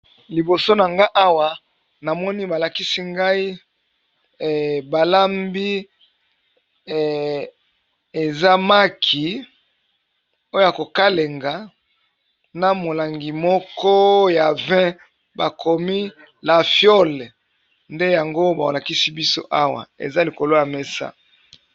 Liboso na nga awa na moni ba lakisi ngai ba lambi eza maki oyo ko kalinga na molangi moko ya vin, ba komi la fiole nde yango ba lakisi biso awa eza likolo ya mesa .